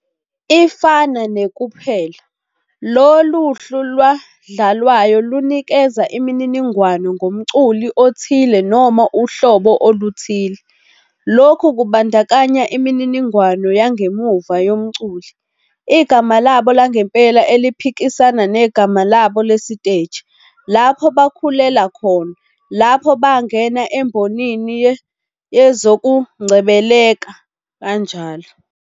Ifana ne-kuphela, lolu hlu lwadlalwayo lunikeza imininingwane ngomculi othile noma uhlobo oluthile. Lokhu kubandakanya imininingwane yangemuva yomculi, igama labo langempela eliphikisana negama labo lesiteji, lapho bakhulela khona, lapho bangena embonini yezokungcebeleka, njll.